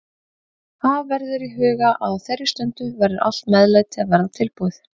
Hafa verður í huga að á þeirri stundu verður allt meðlæti að vera tilbúið.